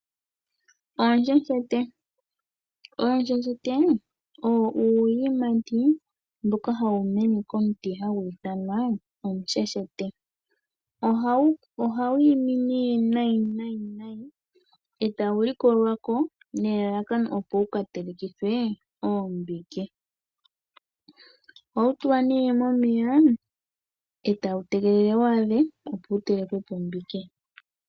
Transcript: Onsheshete, onsheshete owo uuyimati mboka hawu mene komuti hagu ithanwa omusheshete ohawu imi ne nayi etawu likolwako nelalakano opo wuka telekithwe oombike. Ohawu tulwa ne momeya etawu tegelele wu adhe opowu telekwepo ombike.